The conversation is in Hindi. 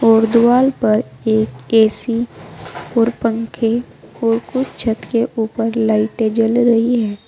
और दीवाल पर एक ए_सी और पंखे और कुछ छत के ऊपर लाइटें जल रही हैं।